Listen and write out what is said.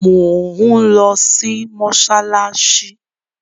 Mò ń lọ mọ́ṣáláṣí.